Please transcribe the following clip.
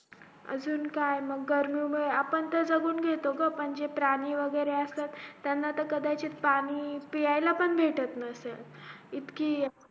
अजून काय गर्मी मुळे आपण तर जागून घेतो ग जे प्राणी वैगरे असत त्यानां तर कदाचित पाणी प्यायला पण भेटत नसेल इतकी